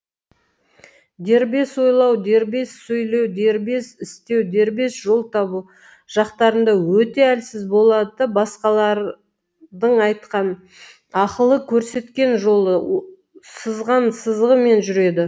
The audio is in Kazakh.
дербес ойлау дербес сөйлеу дербес істеу дербес жол табу жақтарында өте әлсіз болады да басқалардың айтқан ақылы көрсеткен жолы сызған сызығымен жүреді